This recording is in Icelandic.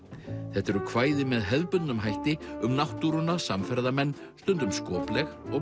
þetta eru kvæði með hefðbundnum hætti um náttúruna samferðamenn stundum skopleg og